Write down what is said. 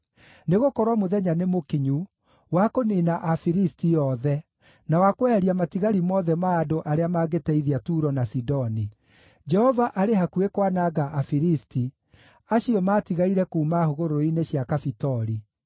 Nĩgũkorwo mũthenya nĩmũkinyu wa kũniina andũ a Filisti othe, na wa kweheria matigari mothe ma andũ arĩa mangĩteithia Turo na Sidoni. Jehova arĩ hakuhĩ kwananga andũ a Filisti, acio maatigaire kuuma hũgũrũrũ-inĩ cia Kafitori.